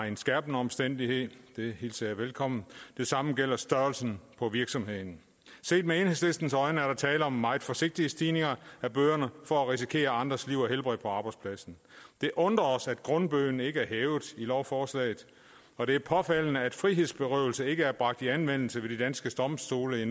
en skærpende omstændighed det hilser jeg velkommen det samme gælder størrelsen på virksomheden set med enhedslistens øjne er der tale om meget forsigtige stigninger i bøderne for at risikere andres liv og helbred på arbejdspladsen det undrer os at grundbøden ikke er hævet i lovforslaget og det er påfaldende at frihedsberøvelse endnu ikke er bragt i anvendelse ved de danske domstole